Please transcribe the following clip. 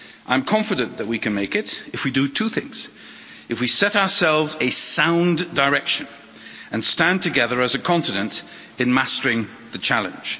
I'm confident that we can make it if we do two things if we set ourselves a sound direction and stand together as a continent in mastering the challenge.